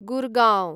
Gurgaon